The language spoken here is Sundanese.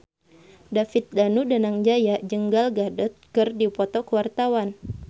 David Danu Danangjaya jeung Gal Gadot keur dipoto ku wartawan